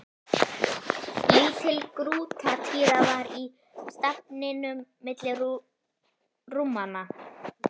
Lítil grútartýra var í stafninum milli rúmanna.